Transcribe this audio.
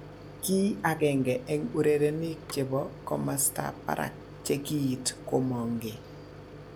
Ki agenge en urerenik chebo komostab barak che kiit komongee